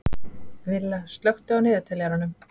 Villa, slökktu á niðurteljaranum.